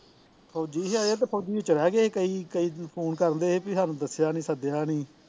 ਫੌਜੀ ਸੀ ਆਏ ਤੇ ਫੌਜੀ ਤੇ ਚਲਿਆ ਗਿਆ ਸੀ ਕਈ ਕਈ phone ਕਰਨ ਦਐ ਸੀ ਵੀ ਸਾਨੂ ਦੱਸਿਆ ਨੀ ਸੱਦਿਆ ਨੀ